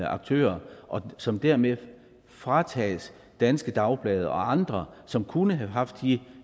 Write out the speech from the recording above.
aktører og som dermed fratages danske dagblade og andre som kunne have haft de